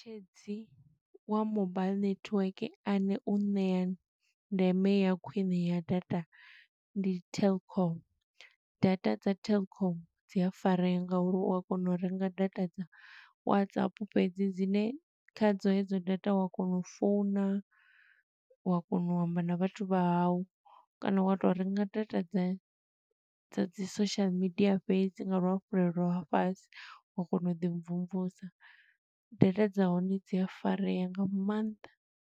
Tshedzi wa mobile network ane u ṋea ndeme ya khwiṋe ya data ndi telkom. Data dza telkom dzi a farea nga uri u a kona u renga data dza WhatsApp fhedzi, dzine kha dzo hedzo data, u wa kona u founa, u wa kona u amba na vhathu vha hau. Kana wa to renga data dza dza dzi social media fhedzi nga luhafhulelo ha fhasi, wa kona u ḓi mvumvusa. Data dza hone dzi a farea nga mannḓa.